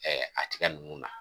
Ɛɛ a tiga ninnu na